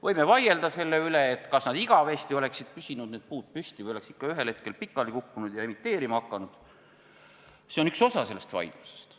Võime vaielda selle üle, kas need puud oleks püsinud igavesti püsti või oleks ikka ühel hetkel pikali kukkunud ja emiteerima hakanud – see on üks osa vaidlusest.